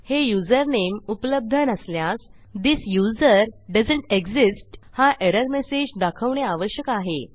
हे युझरनेम उपलब्ध नसल्यास थिस यूझर दोएसंत एक्सिस्ट हा एरर मेसेज दाखवणे आवश्यक आहे